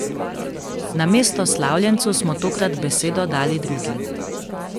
Namesto slavljencu smo tokrat besedo dali drugim.